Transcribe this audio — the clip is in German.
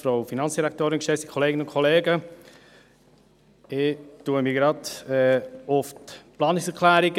Ich beziehe mich gleich auf die Planungserklärungen.